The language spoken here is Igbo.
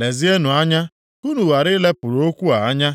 Lezienụ anya ka unu ghara i lepụrụ okwu a anya.